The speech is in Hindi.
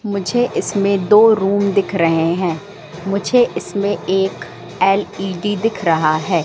मुझे इसमें दो रूम दिख रहे हैं मुझे इसमें एक एल_इ_डी दिख रहा है।